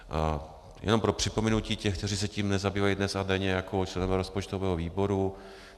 Jenom pro připomenutí těm, kteří se tím nezabývají dnes a denně jako členové rozpočtového výboru.